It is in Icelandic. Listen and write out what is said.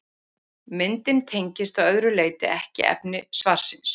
Myndin tengist að öðru leyti ekki efni svarsins.